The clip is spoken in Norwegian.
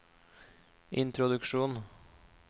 introduksjon